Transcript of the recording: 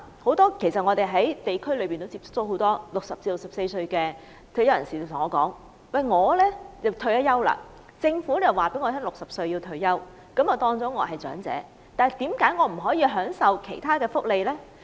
很多我在地區接觸到的60歲至64歲退休人士問我："我已經退休，政府說我60歲要退休，我被視為長者，但為何我不合資格享受長者福利呢？